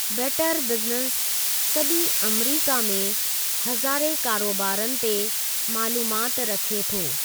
Better business सॼी अमरीका में हज़ारें कारोबारनि ते मालूमात रखे थो।